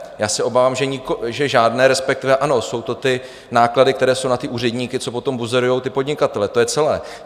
Já se obávám, že žádné, respektive ano, jsou to ty náklady, které jsou na ty úředníky, co potom buzerují ty podnikatele, to je celé.